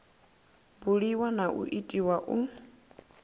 buliwa na u itiwa u